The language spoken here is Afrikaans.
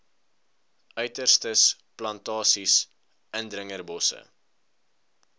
uiterstes plantasies indringerbosse